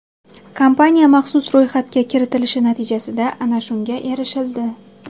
Kompaniya maxsus ro‘yxatga kiritilishi natijasida ana shunga erishildi.